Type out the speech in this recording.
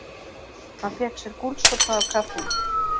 Hann fékk sér gúlsopa af kaffinu